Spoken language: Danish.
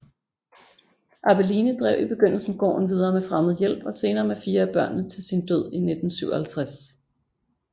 Abeline drev i begyndelsen gården videre med fremmed hjælp og senere med fire af børnene til sin død i 1957